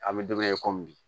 An bɛ don min na i ko bi